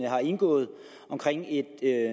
har indgået omkring et